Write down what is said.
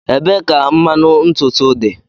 Ebee ka mmanụ ntutu dị?